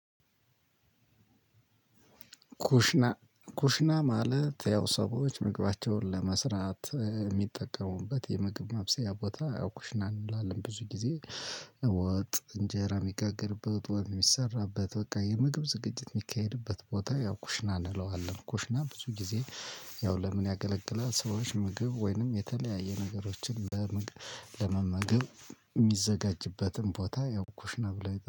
ኩሽና ኩሽና ማለት ያው ሰዎች ምግባቸውን ለመስራት የሚጠቀሙበት የምግብ ማብሰያ ቦታ ያው ኩሽና እንለዋለን ብዙ ጊዜ ወጥ እንጀራ የሚጋገርበት ወት የሚሰራበት በቃ የምግብ ዝግጅት የሚካሄድበት ቦታ ያው ኩሽና እንለዋለን። ኩሽና ብዙ ጊዜ ያው ለምን ያገለገላት ሰዎች ምግብ ወይንም የተለያየ ነገሮችን ለምግብ ለመመገብ። የሚዘጋጅበትን ቦታ ያው ኩሽ ብሎው ይጠሩታል